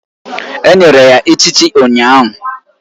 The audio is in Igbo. Enyere ya echichi ụnyahụ